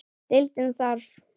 Deildin þarf